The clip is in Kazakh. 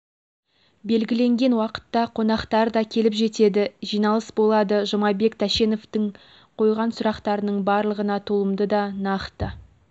белгіленген уақытта қонақтар да келіп жетеді жиналыс болады жұмабек тәшеновтың қойған сұрақтарының барлығына толымды да нақты